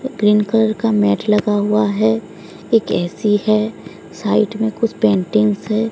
Green colour का mat लगा हुआ है एक ए_सी है साइड में कुछ पेंटिंग्स है।